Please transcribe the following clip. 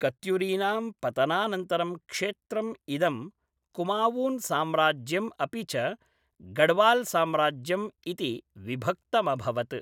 कत्युरीनां पतनानन्तरं क्षेत्रम् इदं कुमावून् साम्राज्यम् अपि च गढ़वाल्साम्राज्यम् इति विभक्तमभवत्।